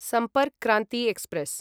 Sampark Kranti express